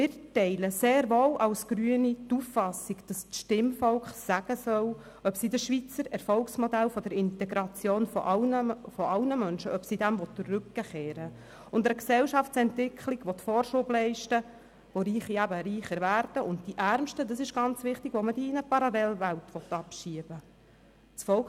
Die grüne Fraktion teilt sehr wohl die Auffassung, dass das Stimmvolk sagen soll, ob es dem Schweizer Erfolgsmodell der Integration aller Menschen den Rücken kehren und einer Gesellschaftsentwicklung Vorschub leisten will, bei der Reiche reicher werden und bei der man die Ärmsten – das ist ganz wichtig – in eine Parallelwelt abschieben will.